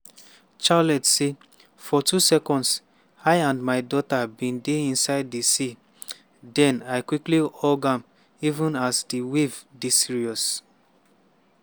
charlotte say: "for two seconds i and my daughter bin dey inside di sea den i quickly hug am even as di waves dey serious."